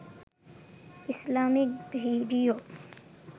Islamic video